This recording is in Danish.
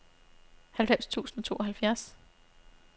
halvfems tusind og tooghalvfjerds